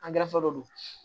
Angɛrɛ de don